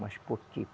Mas por quê?